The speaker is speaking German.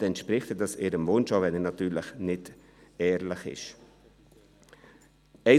Somit entspricht das deren Wunsch, auch wenn dieser nicht ehrlich gemeint ist.